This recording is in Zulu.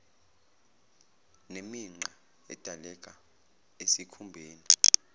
nemigqa edaleka esikhumbeni